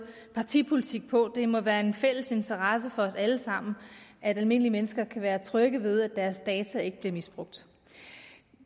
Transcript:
partipolitik på det må være en fælles interesse for os alle sammen at almindelige mennesker kan være trygge ved at deres data ikke bliver misbrugt